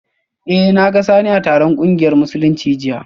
Eh, na ga Sani a taron kungiyar Musulunci jiya